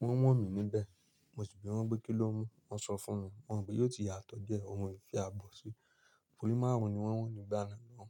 wọ́n wọ̀n mí níbẹ̀. Mo sì wí bí wọ́n pé kí lẹ mu, wọ́n sọ fún mo mọ́n pé yóò ti yàtọ̀ diẹ́ ohun mo fi fi àabọ̀ sí. Torí márùn-ún ni wọ́n wọ̀n nígbà náà mọ́.